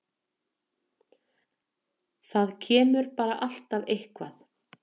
Það kemur bara alltaf eitthvað.